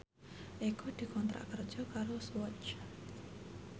Eko dikontrak kerja karo Swatch